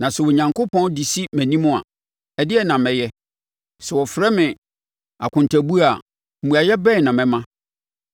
na sɛ Onyankopɔn de si mʼanim a, ɛdeɛn na mɛyɛ? Sɛ wɔfrɛ me akontabuo a, mmuaeɛ bɛn na mɛma?